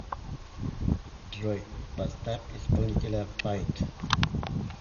джой поставь исполнителя файт